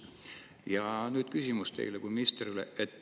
" Ja nüüd küsimus teile kui ministrile.